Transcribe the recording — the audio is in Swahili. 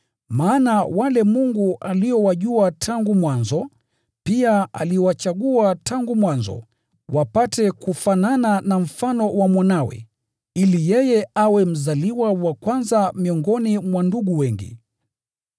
Maana wale Mungu aliowajua tangu mwanzo, pia aliwachagua tangu mwanzo, wapate kufanana na mfano wa Mwanawe, ili yeye awe mzaliwa wa kwanza miongoni mwa ndugu wengi.